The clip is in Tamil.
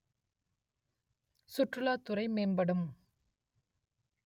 சுற்றுலாத் துறை மேம்படும்